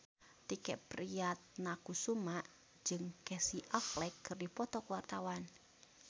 Tike Priatnakusuma jeung Casey Affleck keur dipoto ku wartawan